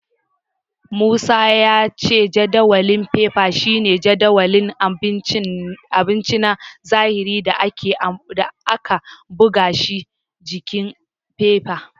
Musa ya ce jadawalin fefa shine jadawalin abinci na zahiri da aka buga shi s jikin fefa.